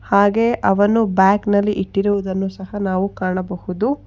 ಹಾಗೆ ಅವನು ಬಬ್ಯಾಗ್ನಲ್ಲಿ ಇಟ್ಟಿರುದನ್ನು ಸಹ ನಾವು ಕಾಣಬಹುದು.